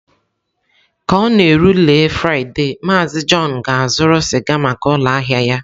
Ka ọ na-erule Fraịde, MaazịJohn ga-azụrụ sịga maka ụlọ ahịa ya.